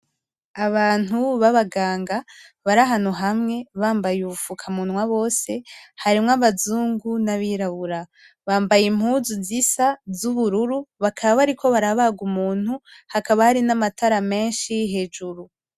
Abantu baba ganga bari ahantu hamwe bambaye ubu fuka munwa bose harimwo abazungu n'abirabura bambaye impuzu zisa z'ubururu bakaba bariko barabaga umuntu hakaba hari n'amatara meshi hejuru.